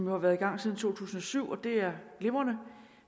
har været i gang siden to tusind og syv og det er glimrende